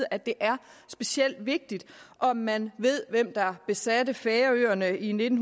at det er specielt vigtigt om man ved hvem der besatte færøerne i nitten